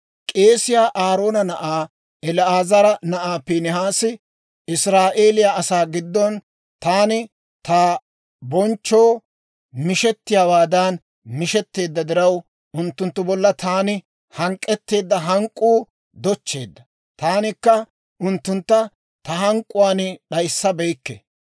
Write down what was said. «K'eesiyaa Aaroona na'aa El"aazara na'ay Piinihaasi Israa'eeliyaa asaa giddon taani ta bonchchoo mishettiyaawaadan mishetteedda diraw, unttunttu bolla taani hank'k'etteedda hank'k'uu dochcheedda; taanikka unttuntta ta hank'k'uwaan d'ayissabeykke.